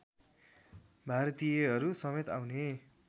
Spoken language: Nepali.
भारतीयहरूसमेत आउने